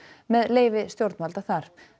með leyfi stjórnvalda þar